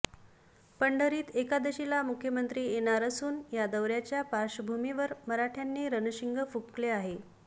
पंढरीत एकादशीला मुख्यमंत्री येणार असुन या दौऱ्याच्या पार्श्वभुमीवर मराठ्यांनी रणशिंग फुकंले आहे